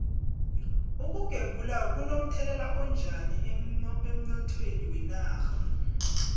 ukugembula kuno mthelela onjani emnothweni wenarha